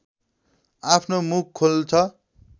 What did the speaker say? आफ्नो मुख खोल्छ